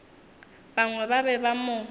bangwe ba be ba mo